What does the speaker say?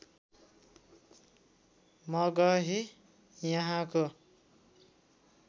मगही यहाँको